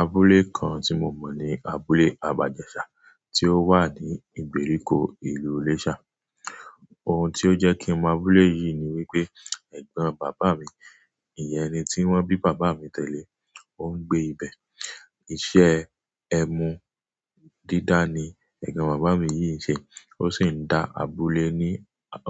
Abúlé kan tí mo mọ̀ ní abúlé Abajẹsà tí ó wà ní ìgbèríko ìlú Iléṣà. Ohun tí ó jẹ́ kí mo mọ abúlé yìí ni wípé ẹ̀gbọ́n bàbá mi, ìyẹn ẹni tí wọ́n bí bàbá mi tẹ́lè ó ń gbé ibẹ̀. Iṣẹ́ ẹmu dídá ni ẹ̀gbọ́n bàbá mi yìí ń ṣe, ó sì ń dá abúlé ní,